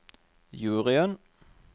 juryen